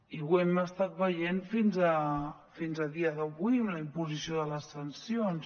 i ho hem estat veient fins a dia d’avui amb la imposició de les sancions